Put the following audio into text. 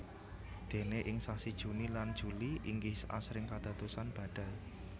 Déné ing sasi Juni lan Juli inggih asring kadadosan badai